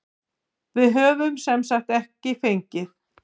Við höfum semsagt ekki fengið.